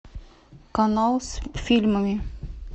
канал с фильмами